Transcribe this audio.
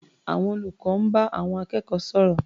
Àwọn olùkọ́ ń bá àwọn akẹ́kọ̀ọ́ sọ̀rọ̀.